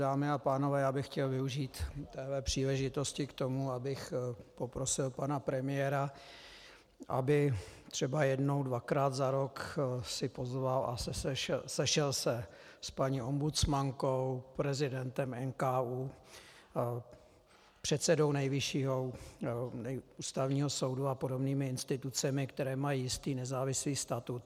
Dámy a pánové, já bych chtěl využít této příležitosti k tomu, abych poprosil pana premiéra, aby třeba jednou dvakrát za rok si pozval a sešel se s paní ombudsmankou, prezidentem NKÚ, předsedou Nejvyššího ústavního soudu a podobnými institucemi, které mají jistý nezávislý statut.